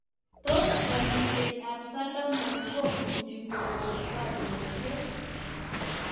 Tos parisiet ap Solomon komuchii kogon pariosiek?